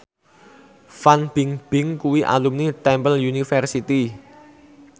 Fan Bingbing kuwi alumni Temple University